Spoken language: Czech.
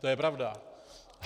To je pravda.